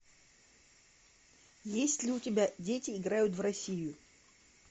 есть ли у тебя дети играют в россию